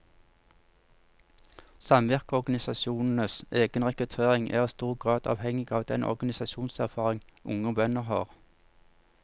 Samvirkeorganisasjonenes egen rekruttering er i stor grad avhengig av den organisasjonserfaring unge bønder har.